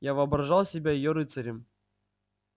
я воображал себя её рыцарем